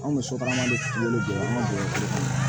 Anw ka musokɔnɔma de kun bɛ anw bolo